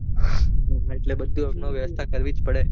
બધી વ્યવસ્થા કરવી જ પડે.